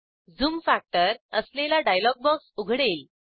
zoom factor असलेला dialog box उघडेल